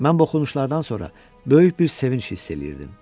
Mən bu oxunuşlardan sonra böyük bir sevinc hiss eləyirdim.